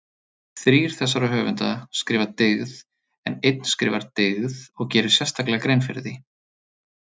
Þrír þessara höfunda skrifa dyggð en einn skrifar dygð og gerir sérstaklega grein fyrir því.